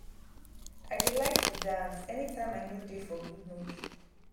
i dey like to dance anytime i no dey for good mood